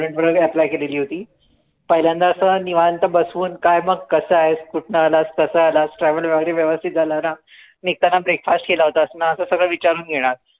student वरती apply केलेली होती पहिल्यांदा असं निवांत बसून काय मग कसा आहेस? कुठनं आलास? कसा आलास? travel वगैरे व्यवस्थित झालं ना? निघतांना breakfast केला होतास ना? असं सगळं विचारून घेणार